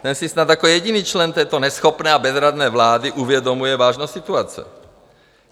Ten si snad jako jediný člen této neschopné a bezradné vlády uvědomuje vážnost situace.